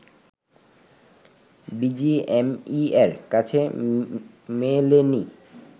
বিজিএমইএর কাছে মেলেনি